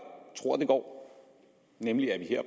tror det går nemlig at vi